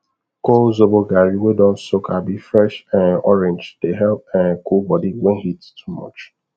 col zobo garri wey don soak abi fresh um orange dey help um cool body when heat too much